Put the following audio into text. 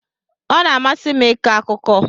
Ọ na-amasị m ịkọ akụkọ.